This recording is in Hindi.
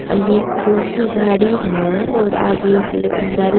ये स्कूल की गाड़ी है और आगे एक--